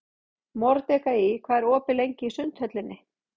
Mordekaí, hvað er opið lengi í Sundhöllinni?